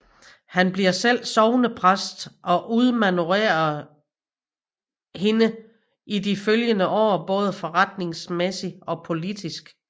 Han bliver selv sognepræst og udmanøvrerer hende i de følgende år både forretningsmæssigt og politisk